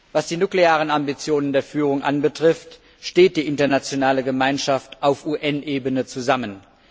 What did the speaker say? Was die nuklearen Ambitionen der Führung betrifft, steht die internationale Gemeinschaft auf UN Ebene zusammen.